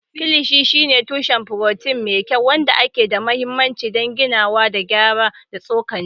Kilishi shine tushen furotin mai kyau, wanda ke da mahimmanci don ginawa da gyaran tsokar cikin jiki.